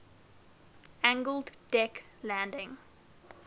angled deck landing